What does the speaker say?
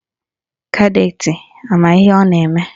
Kadetị ama ihe ọ na-eme?